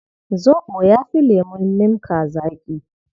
Zoɓo ya fi lemun limka zaƙi.